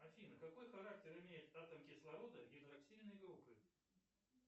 афина какой характер имеет атом кислорода гидроксильной группы